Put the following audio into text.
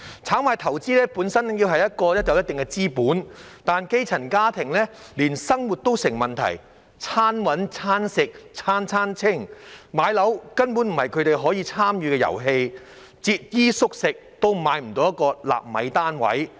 炒賣投資本身要有一定資本，但基層家庭連生活都成問題，"餐搵、餐食、餐餐清"，買樓根本不是他們可以參與的遊戲，節衣縮食也買不到一個納米單位。